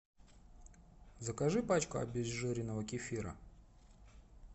закажи пачку обезжиренного кефира